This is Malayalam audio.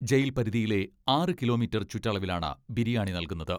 ജയിൽ പരിധിയിലെ ആറ് കിലോ മീറ്റർ ചുറ്റളവിലാണ് ബിരിയാണി നൽകുന്നത്.